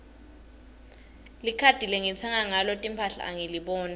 likhadi lengitsenga ngalo timphahla angiliboni